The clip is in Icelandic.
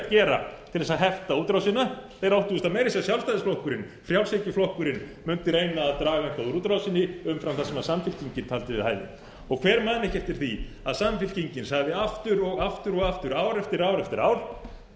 gera til að hefta útrásina þeir áttu auðvitað meira að segja sjálfstæðisflokkurinn frjálshyggjuflokkurinn mundi reyna að draga eitthvað úr útrásinni umfram það sem samfylkingin taldi við hæfi og hver man eftir því að samfylkingin sagði aftur og aftur og aftur ár eftir ár eftir ár